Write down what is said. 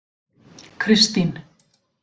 Kristín